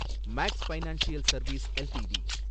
maths financial service LTD